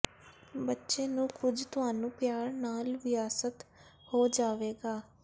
ਬੱਚੇ ਨੂੰ ਕੁਝ ਤੁਹਾਨੂੰ ਪਿਆਰ ਨਾਲ ਵਿਅਸਤ ਹੋ ਜਾਵੇਗਾ